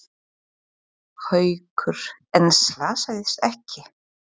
Haukur: En slasaðist ekki?